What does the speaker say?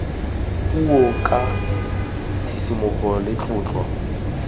puo ka tshisimogo le tlotlo